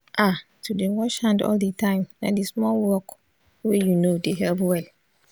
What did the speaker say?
ah to dey wash hand all d time na d small work wey you know dey help well